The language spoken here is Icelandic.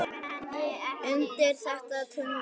undir þetta tungl, tungl.